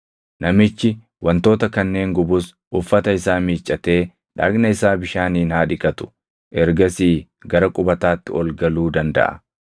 Namichi wantoota kanneen gubus uffata isaa miiccatee dhagna isaa bishaaniin haa dhiqatu; ergasii gara qubataatti ol galuu dandaʼa.